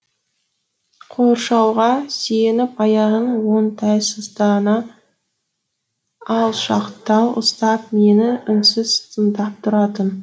қоршауға сүйеніп аяғын оңтайсыздана алшақтау ұстап мені үнсіз тыңдап тұратын